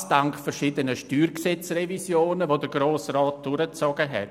Dies dank verschiedener StGRevisionen, die der Grosse Rat vorgenommen hat.